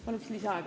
Palun lisaaega!